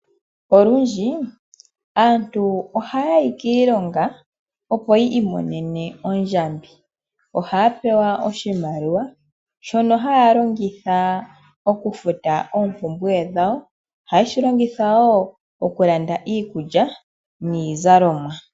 Olundji aantu ohaya yi kiilonga opo yi imonene ondjambi ohaya pewa oshimaliwa shono haya longitha okufuta oompumbwe dhawo, ohaye shi longitha wo okulanda iikulya niizalomwa.